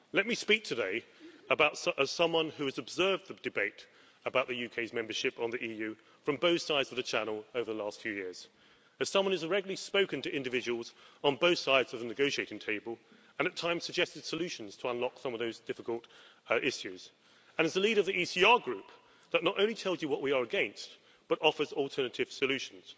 Let me speak today, as someone who has observed the debate about the UK's membership of the EU from both sides of the Channel over the last few years, as someone who has regularly spoken to individuals on both sides of the negotiating table and at times suggested solutions to unlock some of those difficult issues, and as the leader of the ECR Group, that not only tells you what we are against, but offers alternative solutions.